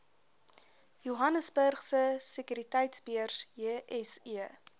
johannesburgse sekuriteitebeurs jse